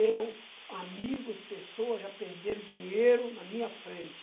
Eu, amigos, pessoas já perderam dinheiro na minha frente.